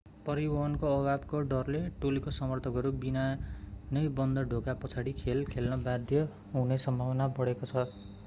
परिवहनको अभावको डरले टोलीका समर्थकहरू बिना नै बन्द ढोका पछाडि खेल खेल्न बाध्य हुने सम्भावना बढेको छ